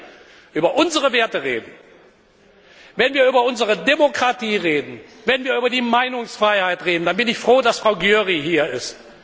Und wenn wir über unsere Werte reden, wenn wir über unsere Demokratie reden, wenn wir über die Meinungsfreiheit reden, dann bin ich froh, dass Frau Győri hier